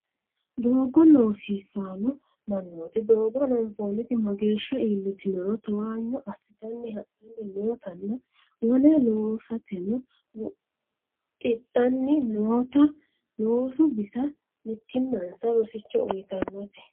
Doogo loosisano mannoti doogo hananfonniti mageeshsha iillitinoro towanyo assittanni hadhani noottanna wole loosateno mixidhanni nootta loosu bissa mittimmansa rosicho uyittanote.